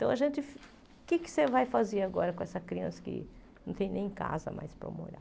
Então, a gente o que você vai fazer agora com essa criança que não tem nem casa mais para morar?